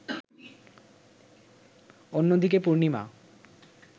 অন্যদিকে, পূর্ণিমা